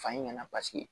Fa in ɲɛna paseke